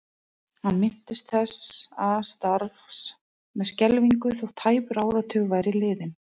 Hann minntist þessa starfs með skelfingu þótt tæpur áratugur væri liðinn.